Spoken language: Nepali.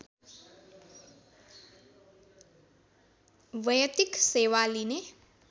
वैयक्तिक सेवा लिने